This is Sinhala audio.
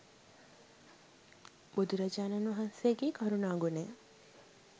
බුදුරජාණන් වහන්සේගෙ කරුණා ගුණය.